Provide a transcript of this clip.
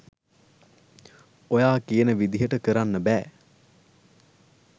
ඔයා කියන විදිහට කරන්න බෑ.